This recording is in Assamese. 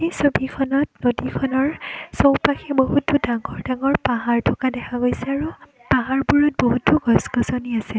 ছবিখনত নদীখনৰ চৌপাশে বহুতো ডাঙৰ ডাঙৰ পাহাৰ থকা দেখা গৈছে আৰু পাহাৰবোৰত বহুতো গছ-গছনি আছে।